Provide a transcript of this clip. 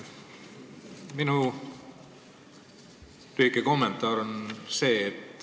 Minu lühike kommentaar on see.